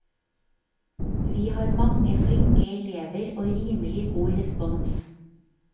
Vi har mange flinke elever og rimelig god respons.